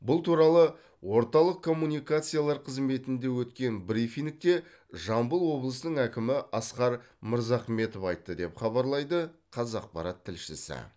бұл туралы орталық коммуникациялар қызметінде өткен брифингте жамбыл облысының әкімі асқар мырзахметов айтты деп хабарлайды қазақпарат тілшісі